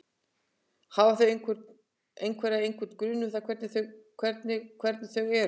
Hafa þau einhverja, einhvern grun um það hvernig hvernig þau eru?